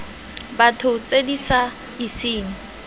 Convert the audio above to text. batho tse di sa iseng